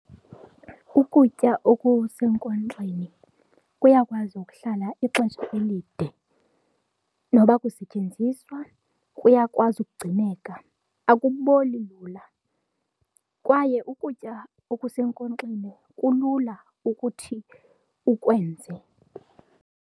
Ukutya okusenkonxeni kuyakwazi ukuhlala ixesha elide noba akusetyenziswa kuyakwazi ugcineleka. Akuboli lula kwaye ukutya okusenkonxeni kulula ukuthi ukwenze.